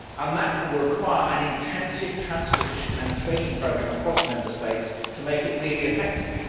That will require an intensive transposition and training programme across Member States to make it really effective.